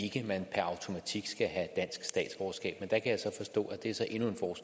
ikke at man per automatik skal have dansk statsborgerskab